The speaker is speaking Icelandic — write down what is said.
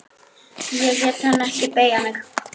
Ég lét hann ekki beygja mig.